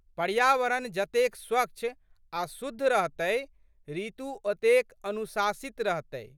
पर्यावरण जतेक स्वच्छ आ शुद्ध रहतै ऋतु ओतेक अनुशासित रहतै।